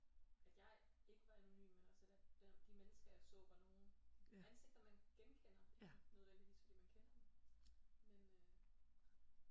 At at jeg ikke var anonym men også at der de mennesker jeg så var nogen ansigter man genkender ikke nødvendigvis fordi man kender dem men øh